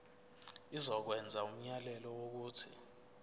izokwenza umyalelo wokuthi